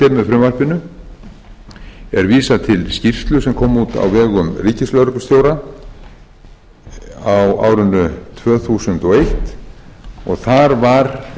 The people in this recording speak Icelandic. frumvarpinu er vísað til skýrslu sem kom út á vegum ríkislögreglustjóra á á árinu tvö þúsund og eins og þar var